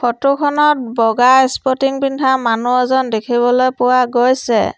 Photo খনত বগা sporting পিন্ধা মানুহ এজন দেখিবলৈ পোৱা গৈছে।